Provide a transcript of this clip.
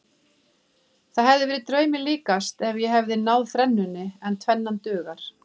Það hefði verið draumi líkast ef ég hefði náð þrennunni en tvennan dugar.